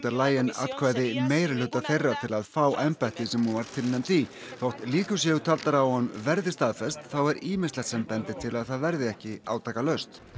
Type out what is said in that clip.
atkvæði meirihluta þeirra til að fá embættið sem hún var tilnefnd í þótt líkur séu taldar á að hún verði staðfest þá er ýmislegt sem bendir til að það verði ekki átakalaust